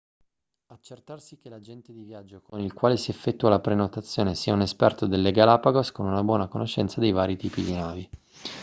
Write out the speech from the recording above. accertarsi che l'agente di viaggio con il quale si effettua la prenotazione sia un esperto delle galapagos con una buona conoscenza dei vari tipi di navi